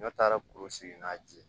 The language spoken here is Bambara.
N'a taara kuru sigi n'a ji